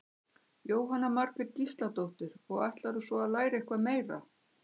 Jóhanna Margrét Gísladóttir: Og ætlarðu svo að læra eitthvað meira?